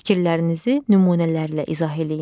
Fikirlərinizi nümunələrlə izah eləyin.